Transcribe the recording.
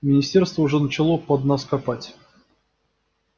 министерство уже начало под нас копать